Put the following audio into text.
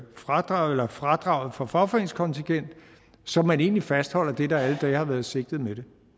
fradraget fradraget for fagforeningskontingentet så man egentlig fastholder det der alle dage har været sigtet med det